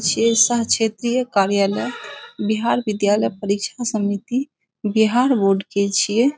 छै साह क्षेत्रीय कार्यालय बिहार विद्यालय परिक्षण समिति बिहार बोर्ड के छिए।